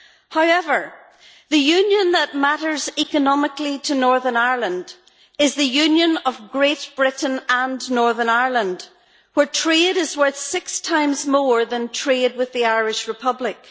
However, the union that matters economically to Northern Ireland is the union of Great Britain and Northern Ireland, where trade is worth six times more than trade with the Irish Republic.